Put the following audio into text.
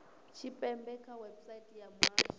tshipembe kha website ya muhasho